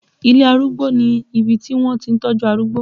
Ilé Arúgbó ni ibi tí wọ́n ti ń tọ́jú arúgbó